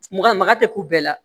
Maga maga tɛ k'u bɛɛ la